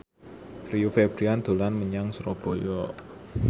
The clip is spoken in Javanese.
Rio Febrian dolan menyang Surabaya